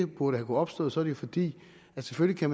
kunnet opstå så jo fordi man selvfølgelig